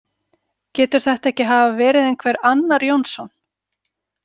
Getur þetta ekki hafa verið einhver annar Jónsson?